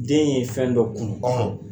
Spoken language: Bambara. Den ye fɛn dɔ kunu